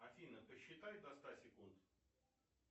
афина посчитай до ста секунд